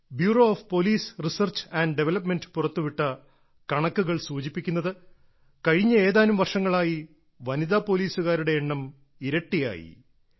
bureau of police research and development പുറത്തുവിട്ട കണക്കുകൾ സൂചിപ്പിക്കുന്നത് കഴിഞ്ഞ ഏതാനും വർഷങ്ങളായി വനിതാ പോലീസുകാരുടെ എണ്ണം ഇരട്ടിയായി